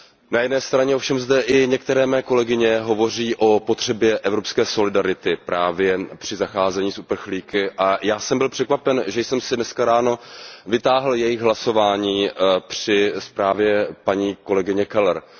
Na jedné straně ovšem i některé mé kolegyně hovoří o potřebě evropské solidarity právě při zacházení s uprchlíky, a já jsem byl překvapen, že jsem si dneska ráno vytáhl jejich hlasování o zprávě paní kolegyně Kellerové.